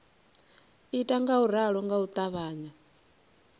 ita ngauralo nga u ṱavhanya